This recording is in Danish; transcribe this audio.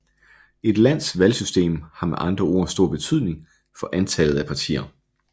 Et lands valgsystem har med andre ord stor betydning for antallet af partier